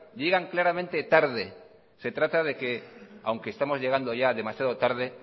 llegan claramente tarde se trata de que aunque estemos llegando ya demasiado tarde